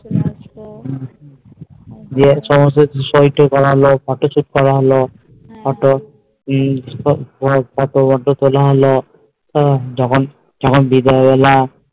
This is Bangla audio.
যে সমস্ত হিসটো ফিসটো করা হলো photo shoot করা হলো ফদ্দ টদ্দ তোলা হলো হম যখন যখন বিকাল বেলা